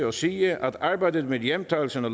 og sige at arbejdet med hjemtagelsen af